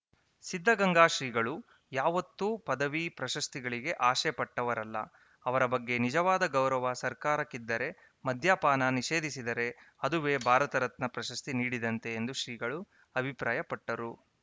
ಸಿದ್ದಗಂಗಾ ಶ್ರೀಗಳು ಯಾವತ್ತು ಪದವಿ ಪ್ರಶಸ್ತಿಗಳಿಗೆ ಆಶೆ ಪಟ್ಟವರಲ್ಲ ಅವರ ಬಗ್ಗೆ ನಿಜವಾದ ಗೌರವ ಸರ್ಕಾರಕ್ಕಿದ್ದರೆ ಮದ್ಯಪಾನ ನಿಷೇಧಿಸಿದರೆ ಅದುವೇ ಭಾರತರತ್ನ ಪ್ರಶಸ್ತಿ ನೀಡಿದಂತೆ ಎಂದು ಶ್ರೀಗಳು ಅಭಿಪ್ರಾಯ ಪಟ್ಟರು